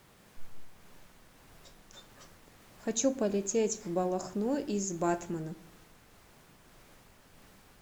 хочу полететь в балахну из батмана